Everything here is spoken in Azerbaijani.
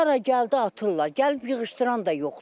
Hara gəldi atırlar, gəlib yığışdıran da yoxdur.